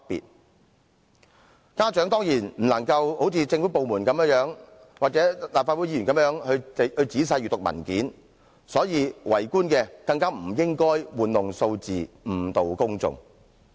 由於家長不能像政府部門或立法會議員仔細閱讀有關文件，政府官員更不應玩弄數字，誤導公眾。